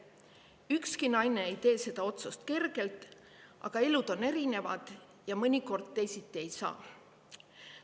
Ükski naine ei tee seda otsust kergelt, aga elud on erinevad ja mõnikord teisiti ei saa.